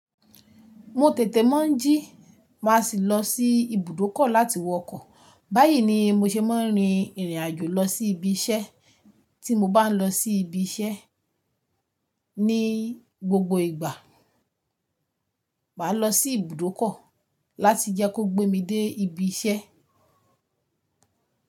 Mo tètè mọ́ jí, má sì lọ sí ibùdókọ̀ láti wọ ọkọ̀. Báyìí ni mo ṣe máa ń rin ìrìn àjò lọ sí ibi iṣẹ́ tí mo bá ń lọ sí ibi iṣẹ́ ní gbogbo ìgbà. Máa lọ sí ibùdókọ̀ láti jẹ́ kó gbé mi dé ibi iṣẹ́.